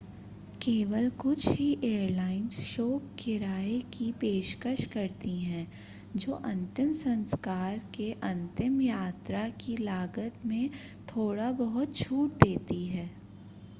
केवल कुछ ही एयरलाइंस शोक किराए की पेशकश करती हैं जो अंतिम संस्कार के अंतिम यात्रा की लागत में थोड़ा बहुत छूट देती है